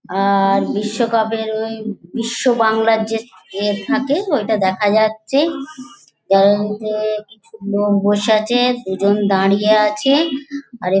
আর বিশ্বকাপের ওই বিশ্ববাংলার যে ইয়ে থাকে ওইটা দেখা যাচ্ছে যার মধ্যে লোক বসে আছে দুজন দাঁড়িয়ে আছে আর এক--